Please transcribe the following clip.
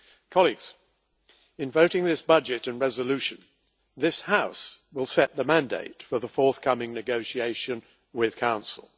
Colleagues, in voting on this budget and resolution, this House will set the mandate for the forthcoming negotiation with the Council.